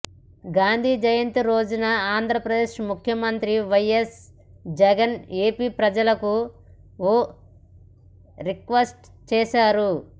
గాంధీ జయంతి రోజున ఆంధ్రప్రదేశ్ ముఖ్యమంత్రి YS Jagan AP ప్రజలకు ఓ రిక్వెస్ట్ చేశారు